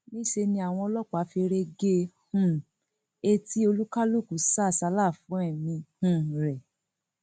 níṣẹ ni àwọn ọlọpàá feré gé um e tí oníkálukú sá àsálà fún ẹmí um rẹ